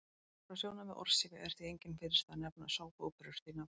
Frá sjónarmiði orðsifja er því engin fyrirstaða að nefna sápuóperur því nafni.